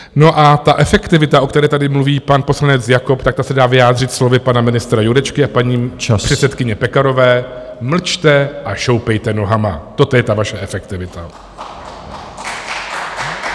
No, a ta efektivita, o které tady mluví pan poslanec Jakob, tak ta se dá vyjádřit slovy pana ministra Jurečky a paní předsedkyně Pekarové - mlčte a šoupejte nohama, toto je ta vaše efektivita.